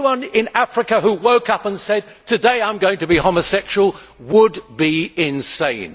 Anyone in Africa who woke up and said Today I am going to be homosexual' would be insane.